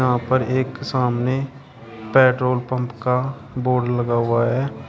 यहां पर एक सामने पेट्रोल पंप का बोर्ड लगा हुआ है।